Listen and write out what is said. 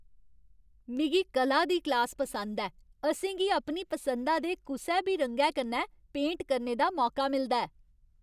मिगी कला दी क्लास पसंद ऐ। असें गी अपनी पसंदा दे कुसै बी रंगै कन्नै पेंट करने दा मौका मिलदा ऐ।